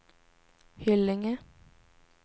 Hyllinge